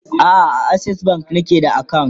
a'a a akses bank nake da akawunt